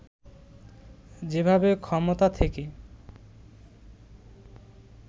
যেভাবে ক্ষমতা থেকে